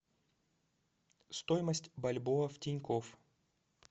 стоимость бальбоа в тинькофф